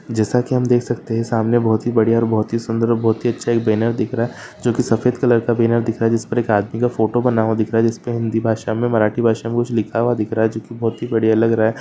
जैसा की हम देख सकते है सामने बहुत बड़िया और बहुत ही सुंदर बहुत ही अच्छा एक बैनर दिख रा जो की सफ़ेद कलर का बैनर दिख रहा है जिस पर एक आदमी का फोटो बना हुआ दिख रा जिस पे हिन्दी भाषा और मराठी भाषा मे कुछ लिखा हुआ दिख रहा है जो की बहुत बढ़िया लग रहा है।